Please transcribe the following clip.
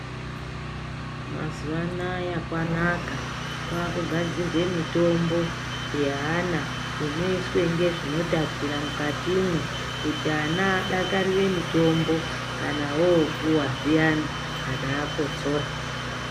Mazuwa anaya kwanaka kwakugadzirwe mitombo yeana inoiswe ngezvinotapira mukatimwo kuti ana adakarire mitombo kana vopuwa zviyana kana akotsora.